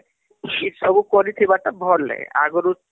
ଏ ସବୁ କରିଥିବା ତ ଭଲେ ଆଗରୁ